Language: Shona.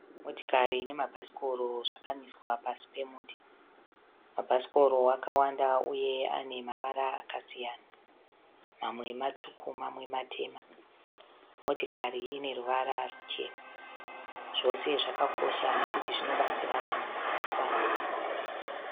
Motikari nemabhasikoro zvakamiswa pasi pemuti. Mabhasikoro akawanda uye ane mavara akasiyana, mamwe matsvuku mamwe matema. Motikari ine ruvara rwuchena. Zvose zvakakosha nekuti zvinobatsira vanhu pakufamba.